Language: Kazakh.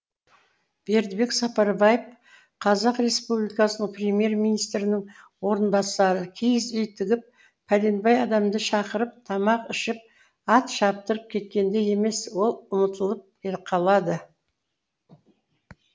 бердібек сапарбаев қазақ республикасының премьер министрінің орынбасары киіз үй тігіп пәленбай адамды шақырып тамақ ішіп ат шаптырып кеткенде емес ол ұмытылып қалады